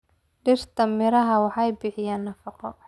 Dhirta miraha waxay bixiyaan nafaqo.